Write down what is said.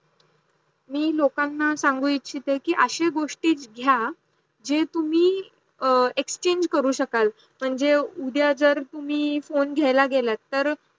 मी लोकांना सांगू ईच्छद की अशे गोष्टी घेणे, जे तुम्ही exchange करू शकल. म्हणजे उदया जर तुम्ही फोन घेयला गेल तर